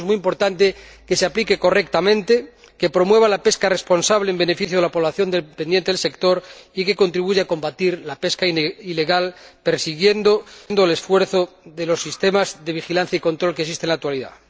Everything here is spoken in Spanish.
Por eso es muy importante que se aplique correctamente, que promueva la pesca responsable en beneficio de la población dependiente del sector y que contribuya a combatir la pesca ilegal, prosiguiendo el esfuerzo de los sistemas de vigilancia y control que existen en la actualidad.